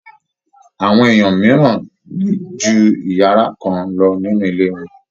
Awọn èèyàn mìíràn ní ju iyàrá kan lọ nínú ilé wọn.